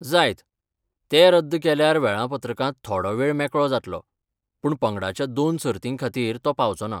जायत, ते रद्द केल्यार वेऴापत्रकांत थोडो वेळ मेकळो जातलो, पूण पंगडांच्या दोन सर्तींखातीर तो पावचो ना.